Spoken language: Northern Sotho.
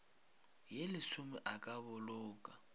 ye lesome a ka boloka